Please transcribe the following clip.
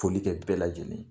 Foli kɛ bɛɛ lajɛlen ye